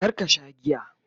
kar ka Sha giya!